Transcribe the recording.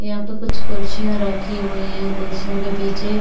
यहाँ पे कुछ कुर्सियां रखी हुई है कुर्सियों के पीछे--